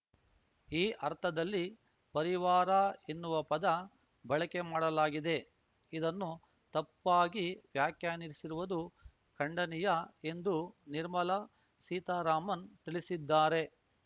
ಈ ಅರ್ಥದಲ್ಲಿ ಪರಿವಾರ ಎನ್ನುವ ಪದ ಬಳಕೆ ಮಾಡಲಾಗಿದೆ ಇದನ್ನು ತಪ್ಪಾಗಿ ವ್ಯಾಖ್ಯಾನಿಸಿರುವುದು ಖಂಡನೀಯ ಎಂದು ನಿರ್ಮಲಾ ಸೀತಾರಾಮನ್‌ ತಿಳಿಸಿದ್ದಾರೆ